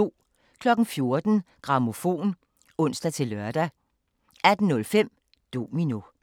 14:03: Grammofon (ons-lør) 18:05: Domino